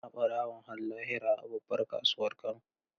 An kona barawon har lahira a babbar kasuwar Kano.